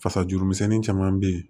Fasajuru misɛnnin caman bɛ yen